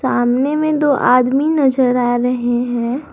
सामने में दो आदमी नजर आ रहे हैं।